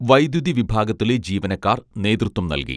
വൈദ്യുതി വിഭാഗത്തിലെ ജീവനക്കാർ നേതൃത്വം നൽകി